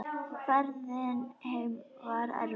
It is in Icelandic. Ferðin heim var erfið.